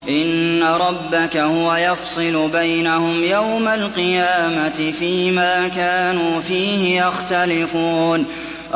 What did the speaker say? إِنَّ رَبَّكَ هُوَ يَفْصِلُ بَيْنَهُمْ يَوْمَ الْقِيَامَةِ فِيمَا كَانُوا فِيهِ يَخْتَلِفُونَ